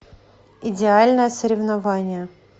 идеальное соревнование